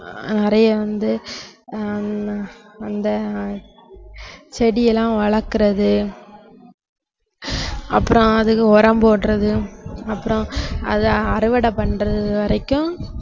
அஹ் நிறைய வந்து ஆஹ் ஹம் அந்த செடியெல்லாம் வளர்க்கிறது அப்புறம் அதுக்கு உரம் போடுறது அப்புறம் அதை அறுவடை பண்றது வரைக்கும்